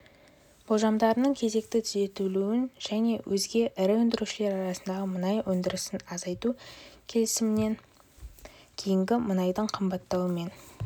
болжамдарының кезекті түзетілуін және өзге ірі өндірушілер арасындағы мұнай өндірісін азайту келісімінен кейінгі мұнайдың қымбаттауымен